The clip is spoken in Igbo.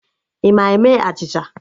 Ị ma eme achịcha?